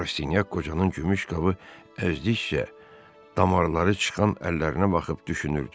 Rastinyak qocanın gümüş qabı əzdikcə damarları çıxan əllərinə baxıb düşünürdü.